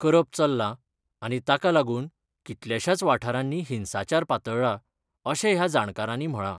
करप चल्ला आनी ताकालागुन कितल्याशाच वाठारानी हिंसाचार पातळ्ळा, अशे ह्या जाणकारानी म्हळा.